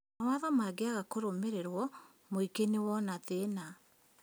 Mawatho mangĩaga kũrũmĩrĩrwo mũingĩ nĩwona thĩna